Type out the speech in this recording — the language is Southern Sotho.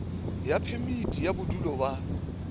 ya phemiti ya bodulo ba